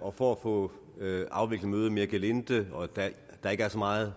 og for at få afviklet mødet mere gelinde og da der ikke er så meget